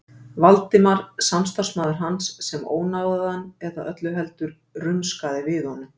Valdimar, samstarfsmaður hans, sem ónáðaði hann eða öllu heldur: rumskaði við honum.